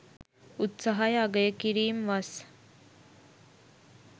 උත්සාහය අගය කිරීම් වස්